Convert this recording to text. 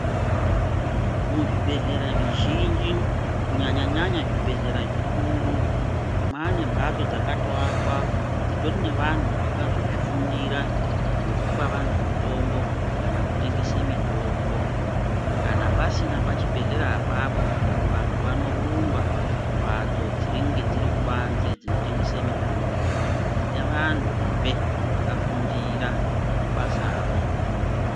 Mu zvibhedhlera zvi zhinji kunyanya nyanya zvibhedhlera zvikuru mwane mbatso dzakato akwa dzitori ne vantu vakazo zvifundira zvekupa vantu mutombo kana kutengese mitombo kana pasina pa chibhedhleya apapo vantu vanorumba ku mbatso dzinenge dziri kubanze dzino tengese mitombo dzine vantu zvee vaka kundira basa ro.